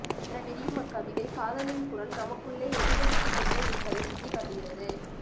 என விரியும் அக்கவிதை காதலின் குரல் நமக்குள்ளே எதிரொலித்துக் கொண்டேயிருப்பதைச் சுட்டிக்காட்டுகிறது